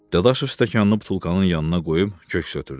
Dadaşov stəkanını butulkanın yanına qoyub köks ötürdü.